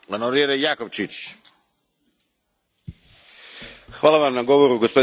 Hvala Vam na govoru gospodine premijeru i dobrodošao natrag u Europski parlament.